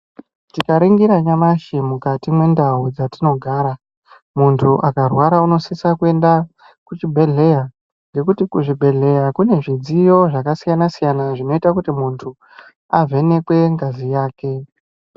Tikaringira nyamashi mukati mentau dzatinogara, muntu akarwara unosisa kuenda kuchibhedhleya ngekuti kuzvibhedhleya kune zvidziyo zvakasiyana siyana zvinoita kuti muntu avhenekwe ngazi yake.